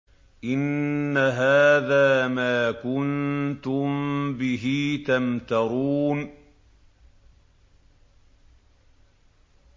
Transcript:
إِنَّ هَٰذَا مَا كُنتُم بِهِ تَمْتَرُونَ